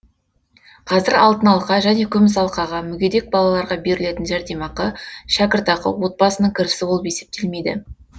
қазір алтын алқа және күміс алқаға мүгедек балаларға берілетін жәрдемақы шәкіртақы отбасының кірісі болып есептелмейді